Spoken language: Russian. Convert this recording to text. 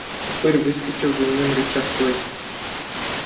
упырь выскочил за ним рыча стой